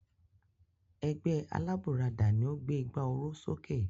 Ẹgbẹ́ alábùradà ni ó gbé ìgbà oró sókè.